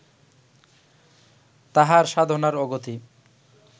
তাঁহার সাধনার অগতি